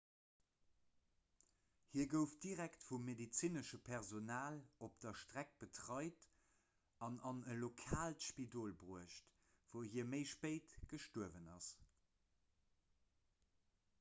hie gouf direkt vum medezinesche personal op der streck betreit an an e lokaalt spidol bruecht wou hie méi spéit gestuerwen ass